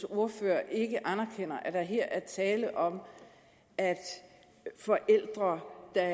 ordfører ikke anerkender at der her er tale om at forældre der